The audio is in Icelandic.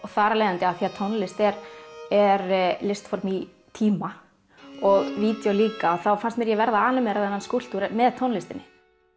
þar af leiðandi af því að tónlist er er listform í tíma og videó líka þá fannst mér ég verða animera þennan skúlptúr með tónlistinni